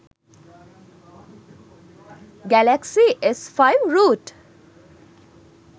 galaxy s5 root